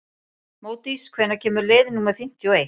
Módís, hvenær kemur leið númer fimmtíu og eitt?